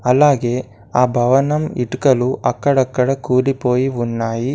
అలాగే ఆ భవనం ఇటుకలు అక్కడక్కడ కూలి పోయి ఉన్నాయి.